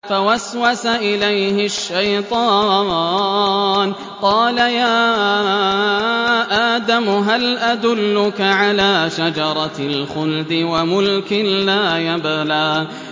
فَوَسْوَسَ إِلَيْهِ الشَّيْطَانُ قَالَ يَا آدَمُ هَلْ أَدُلُّكَ عَلَىٰ شَجَرَةِ الْخُلْدِ وَمُلْكٍ لَّا يَبْلَىٰ